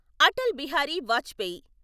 Atal Bihari Vajpayee